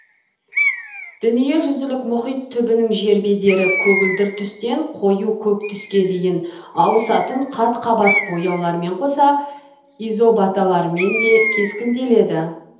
дүниежүзілік мұхит түбінің жер бедері көгілдір түстен қою көк түске дейін ауысатын қат қабат бояулармен қоса изобаталармен де кескінделеді